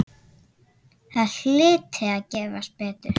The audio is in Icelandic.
Það hlyti að gefast betur.